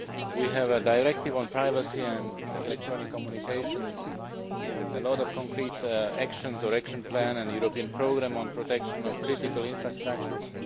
We have a directive on privacy and electronic communications, a lot of concrete action or action plans, a European programme on protection of critical infrastructures.